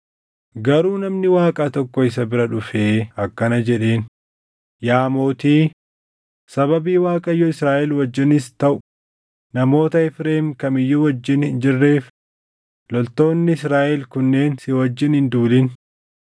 Garuu namni Waaqaa tokko isa bira dhufee akkana jedheen; “Yaa mootii, sababii Waaqayyo Israaʼel wajjinis taʼu namoota Efreem kam iyyuu wajjin hin jirreef loltoonni Israaʼel kunneen si wajjin hin duulin.